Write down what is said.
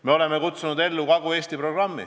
Me oleme kutsunud ellu ka Kagu-Eesti programmi.